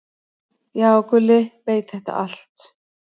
"""Já, Gulli veit þetta allt."""